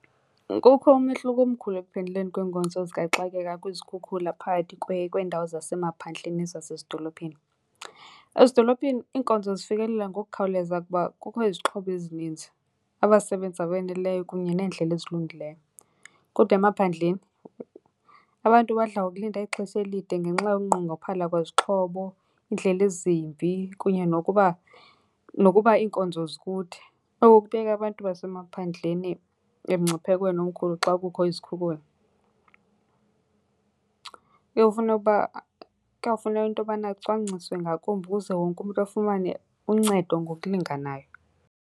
Kukho umehluko omkhulu ekuphenduleni kweenkonzo zikaxakeka kwizikhukhula phakathi kweendawo zasemaphandleni nezasezidolophini. Ezidolophini iinkonzo zifikelela ngokukhawuleza kuba kukho izixhobo ezininzi, abasebenzi abe neleyo kunye neendlela ezilungileyo. Kodwa emaphandleni abantu badla ngokulinda ixesha elide ngenxa yokunqongophala kwezixhobo, iindlela ezimbi kunye nokuba, nokuba iinkonzo zikude. Oko kubeka abantu basemaphandleni emngciphekweni omkhulu xa kukho izikhukhula. Kuye kufune uba, kuyawufuneka into yobana kucwangciswe ngakumbi ukuze wonke umntu afumane uncedo ngokulinganayo.